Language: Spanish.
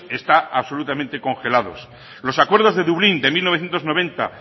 están absolutamente congelados los acuerdos de dublín de mil novecientos noventa